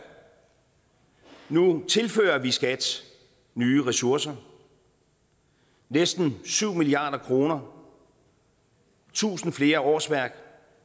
nu tilfører vi skat nye ressourcer næsten syv milliard kr tusind flere årsværk